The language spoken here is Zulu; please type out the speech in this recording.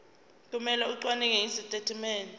kumele acwaninge izitatimende